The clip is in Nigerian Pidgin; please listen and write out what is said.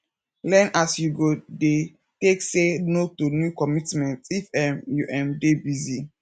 learn as you go dey take say no to new commitments if um you um dey busy